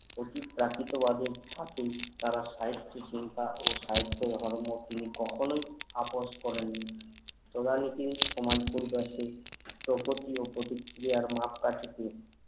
এটি প্রাকৃতিক word এর ধাতু তারা সাহিত্য চিন্তা ও সাহিত্য ধর্ম তিনি কখনোই আপস করেননি সদালোকেই সমাজ পরিবর্তে প্রতিকিয়ার মাপকাঠি কি